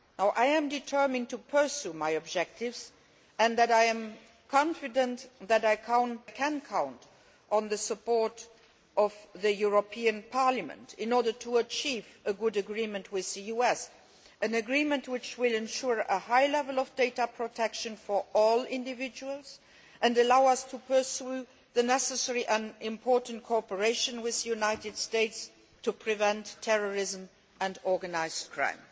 I am determined to pursue my objectives and I am confident that I can count on the support of the European Parliament in order to achieve a good agreement with the US, an agreement which will ensure a high level of data protection for all individuals and allow us to pursue the necessary and important cooperation with the United States to prevent terrorism and organised crime.